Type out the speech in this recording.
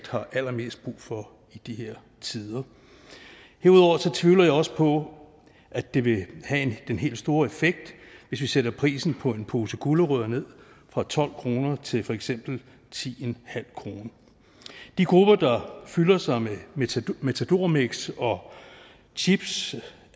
har allermest brug for i de her tider herudover tvivler jeg også på at det vil have den helt store effekt hvis vi sætter prisen på en pose gulerødder ned fra tolv kroner til for eksempel ti kroner de grupper der fylder sig med matadormix og chips